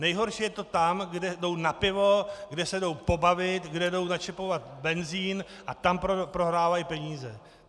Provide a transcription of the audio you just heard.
Nejhorší je to tam, kde jdou na pivu, kde se jdou pobavit, kde jdou načepovat benzin, a tam prohrávají peníze.